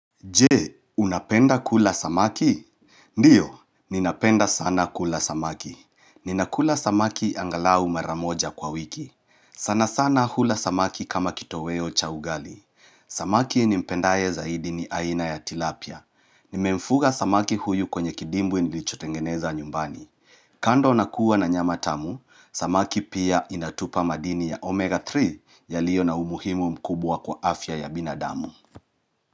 Je, unapenda kula samaki? Ndiyo, ninapenda sana kula samaki. Ninakula samaki angalau maramoja kwa wiki. Sana sana hula samaki kama kitoweo cha ugali. Samaki nimpendaye zaidi ni aina ya tilapia. Nimemfuga samaki huyu kwenye kidimbwi nilichotengeneza nyumbani. Kando nakuwa na nyama tamu, samaki pia inatupa madini ya omega 3 yalio na umuhimu mkubwa kwa afya ya binadamu.